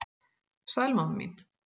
Sæl mamma mín.